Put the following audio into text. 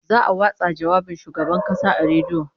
Za'a watsa jawabin Shugaban Kasa a rediyo